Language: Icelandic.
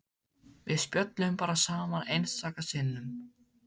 Við spjölluðum bara saman einstaka sinnum.